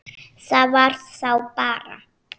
Það var þá bara